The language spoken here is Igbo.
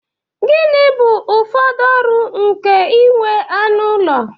Gịnị bụ ụfọdụ ọrụ nke inwe anụ ụlọ?